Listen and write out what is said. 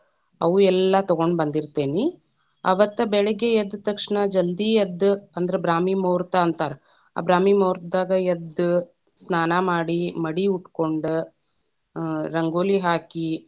ಅವೂ ಎಲ್ಲಾ ತಗೊಂಡ ಬಂದಿರತೇನಿ, ಅವತ್ತ ಬೆಳಿಗ್ಗೆ ಎದ್ದ ತಕ್ಷಣ ಜಲ್ದಿ ಎದ್ದ ಅಂದ್ರ ಬ್ರಾಹ್ಮಿ ಮುಹೂತ೯ ಅಂತಾರ ಆ ಬ್ರಾಹ್ಮಿ ಮುಹೂತ೯ದಾಗ್‌ ಎದ್ದ, ಸ್ನಾನ ಮಾಡಿ ಮಡಿ ಉಟ್ಕೊಂಡ, ಆ ರಂಗೋಲಿ ಹಾಕಿ.